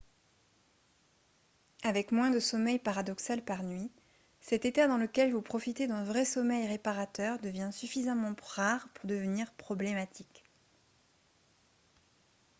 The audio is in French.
avec moins de sommeil paradoxal par nuit cet état dans lequel vous profitez d'un vrai sommeil réparateur devient suffisamment rare pour devenir problématique